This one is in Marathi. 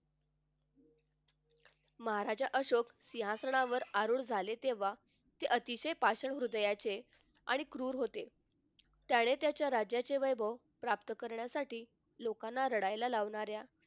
महाराज अशोक सिंहासनावर आरूढ झाले तेव्हा ते अतिशय भाषक हृदयाचे आणि क्रूर होते. त्याने त्याच्या राज्याचे वैभव प्राप्त करण्यासाठी लोकांना रडायला लावणाऱ्या